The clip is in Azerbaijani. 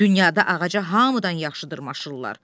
Dünyada ağaca hamıdan yaxşı dırmaşırlar.